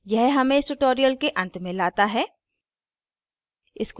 यह हमें इस tutorial के अंत में लाता है